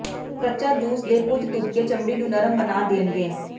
ਕੱਚਾ ਜੂਸ ਦੇ ਕੁਝ ਤੁਪਕੇ ਚਮੜੀ ਨੂੰ ਨਰਮ ਬਣਾ ਦੇਣਗੇ